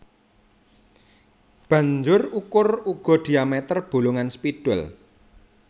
Banjur ukur uga diameter bolongan spidol